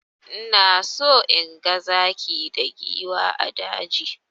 Ina so inga zaki da giwa a daji.